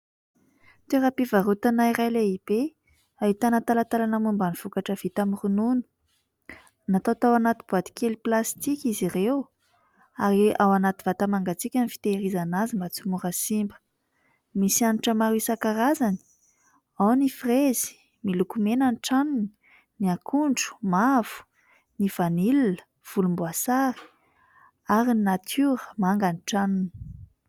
Toeram-pivarotana iray lehibe ahitana talantalana momba ny vokatra vita amin'ny ronono. Natao tao anaty boaty kely plastika izy ireo ary ao anaty vata mangatsiaka ny fitehirizana azy mba tsy ho mora simba. Misy hanitra maro isan-karazany : ao ny frezy, miloko mena ny tranony ; ny akondro, mavo ; ny vanila, volomboasary ary ny natiora, manga ny tranony.